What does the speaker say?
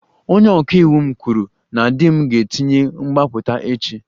Onye ọka iwu m kwuru na di m ga-etinye mgbapụta echi